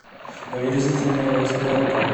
омерзительная восьмерка